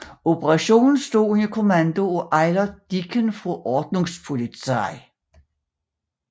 Operationen stod under kommando af Eilert Dieken fra Ordnungspolizei